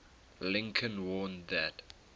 lincoln warned that